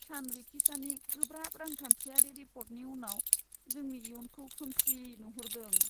सानरिखिसानि गोब्राब रांखान्थियारि रिपर्टनि उनाव जोंनि इयुनखौ खोमसि नुहरदों।